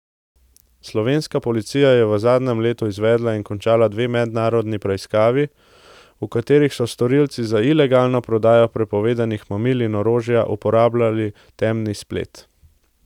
Slovenska policija je v zadnjem letu izvedla in končala dve mednarodni preiskavi, v katerih so storilci za ilegalno prodajo prepovedanih mamil in orožja uporabljali temni splet.